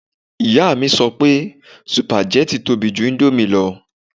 Ìyá mi sọ pé sùpàgẹ́tì tóbi ju íńdómì lọ